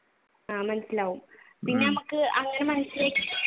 ആഹ് മനസിലാവും പിന്നെ ഞമ്മക്